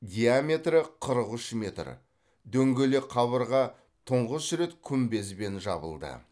диаметрі қырық үш метр дөңгелек қабырға тұңғыш рет күмбезбен жабылды